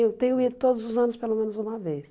eu tenho ido todos os anos pelo menos uma vez.